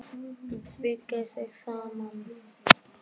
Beygir sig saman.